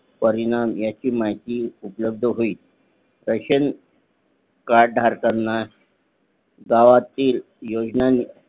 परिणाम याची माहिती उपलब्ध होईल रेशन कार्ड धारकांना गावातील योजना